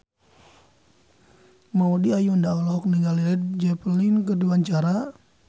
Maudy Ayunda olohok ningali Led Zeppelin keur diwawancara